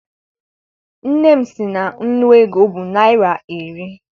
Nne m sị na nnu ego bụ naịra iri.